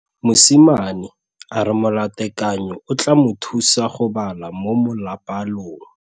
Mosimane a re molatekanyô o tla mo thusa go bala mo molapalong.